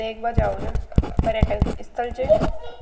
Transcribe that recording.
देखवा जाओ छ पर्यटक स्थल छ।